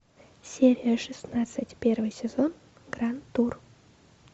серия шестнадцать первый сезон гранд тур